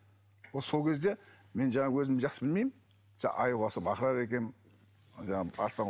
ол сол кезде мен жаңағы өзім жақсы білмеймін жаңағы аюға ұқсап ақырады екенмін